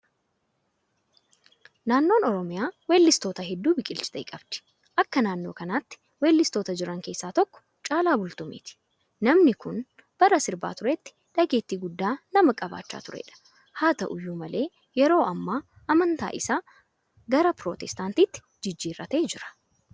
Naannoon Oromiyaa weellistoota hedduu biqilchitee qabdi. Akka naannoo kanaatti weellistoota jiran keessaa tokko Caalaa Bultumeeti. Namni kun bara sirbaa turetti dhageettii guddaa nama qabaachaa turedha. Haata'u iyyuu malee yeroo ammaa amantaa isaa gara Pirootestaantiitti jijjiirratee jira.